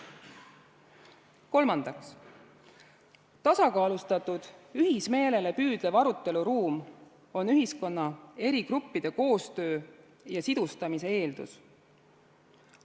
Kolmandaks, tasakaalustatud, ühismeelele püüdlev aruteluruum on ühiskonna eri gruppide koostöö ja sidustamise eeldus.